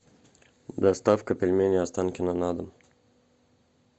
доставка пельменей останкино на дом